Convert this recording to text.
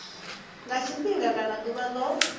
nga tshifhinga kana ḓuvha ḽo